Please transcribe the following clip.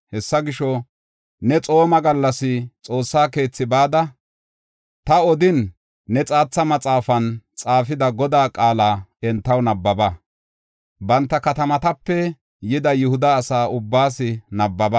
Hessa gisho, ne xooma gallas xoossa keethi bada, ta odin, ne xaatha maxaafan xaafida Godaa qaala entaw nabbaba; banta katamatape yida Yihuda asa ubbaas nabbaba.